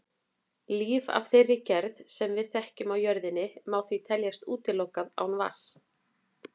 Líf af þeirri gerð sem við þekkjum á jörðinni má því teljast útilokað án vatns.